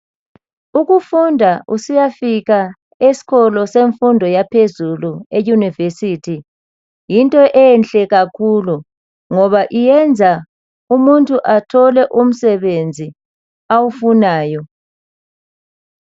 Ukufunda usiyafika esikolo semfundo yaphezulu eyunivesithi yinto enhle kakhulu ngoba yenza umuntu athole umsebenzi awufunayo .